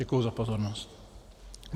Děkuji za pozornost.